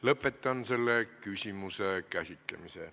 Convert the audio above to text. Lõpetan selle küsimuse käsitlemise.